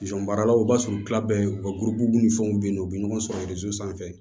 baaralaw u b'a sɔrɔ u kila bɛɛ u ka ni fɛnw bɛ yen nɔ u bɛ ɲɔgɔn sɔrɔ sanfɛ